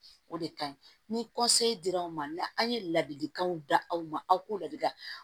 O de ka ɲi ni dira aw ma aw ye ladilikanw di aw ma aw k'o ladilikan